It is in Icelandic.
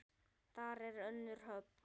Þar er önnur höfn.